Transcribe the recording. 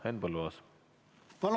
Henn Põlluaas!